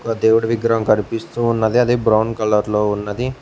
ఒక దేవుడి విగ్రహం కనిపిస్తూ ఉన్నది అదే బ్రౌన్ కలర్ లో ఉన్నది.